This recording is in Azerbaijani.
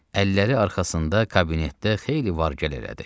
Əlləri arxasında kabinetdə xeyli var-gəl elədi.